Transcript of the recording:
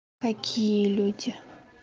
какие люди